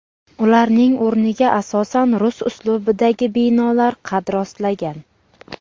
Ularning o‘rniga asosan rus uslubidagi binolar qad rostlagan.